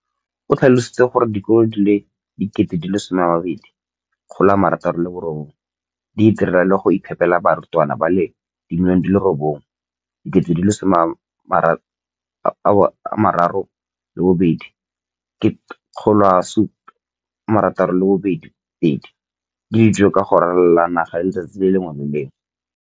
O tlhalositse gore dikolo di le 20 619 di itirela le go iphepela barutwana ba le 9 032 622 ka dijo go ralala naga letsatsi le lengwe le le lengwe.